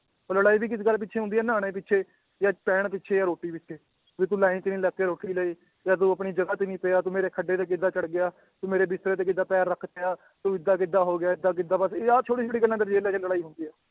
ਉਹ ਲੜਾਈ ਵੀ ਕਿਸ ਗੱਲ ਪਿੱਛੇ ਹੁੰਦੀ ਹੈ ਨਹਾਉਣੇ ਪਿੱਛੇ ਜਾਂ ਪੈਣ ਪਿੱਛੇ ਜਾਂ ਰੋਟੀ ਪਿੱਛੇ ਵੀ ਤੂੰ line 'ਚ ਨੀ ਲੱਗ ਕੇ ਰੋਟੀ ਲਈ ਜਾਂ ਤੂੰ ਆਪਣੀ ਜਗ੍ਹਾ ਤੇ ਨੀ ਪਿਆ, ਤੂੰ ਮੇਰੇ ਖੱਡੇ ਤੇ ਕਿੱਦਾਂ ਚੜ੍ਹ ਗਿਆ, ਤੂੰ ਮੇਰੇ ਬਿਸਤਰੇ ਤੇ ਕਿੱਦਾਂ ਪੈਰ ਰੱਖ ਤਿਆ ਤੂੰ ਏਦਾਂ ਕਿੱਦਾਂ ਹੋ ਗਿਆ, ਏਦਾਂ ਕਿੱਦਾਂ ਬਸ ਆਹ ਛੋਟੀ ਛੋਟੀ ਗੱਲਾਂ ਲੜਾਈ ਹੁੰਦੀ ਹੈ